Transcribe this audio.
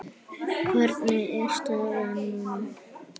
Hvernig er staðan núna?